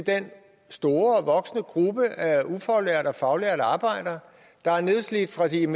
den store og voksende gruppe af ufaglærte og faglærte arbejdere der er nedslidte fra de er